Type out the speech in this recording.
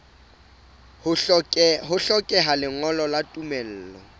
ho hlokeha lengolo la tumello